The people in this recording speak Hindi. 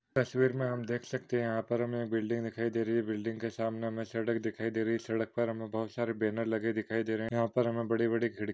तस्वीर मे हम देख सकते है यहा पर हमे बिल्डिंग दिखाई दे रही है बिल्डिंग के सामने हमे सड़क दिखाई दे रही है सड़क पर हमे बहुत सारे बॅनर लगे दिखाई दे रहे है यहा पर हमे बड़ी बड़ी--